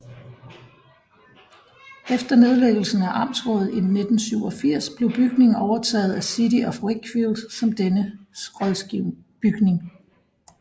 Efter nedlæggelsen af amtsrådet i 1987 blev bygningen overtaget af City of Wakefield som dennes rådsbygning